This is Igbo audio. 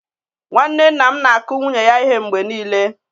Nwanne nna m na-akụ nwunye ya ihe mgbe niile.